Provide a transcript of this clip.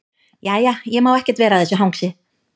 Jæja, ég má ekkert vera að þessu hangsi.